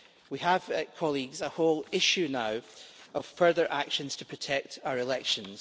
We have, colleagues, a whole issue now of further actions to protect our elections.